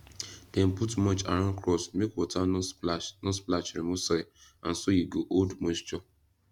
dem put mulch around crops make water no splash no splash remove soil and so e go hold moisture